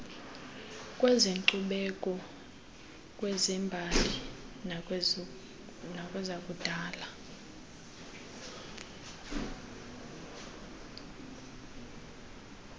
kwezenkcubeko kwezembali nakwezakudala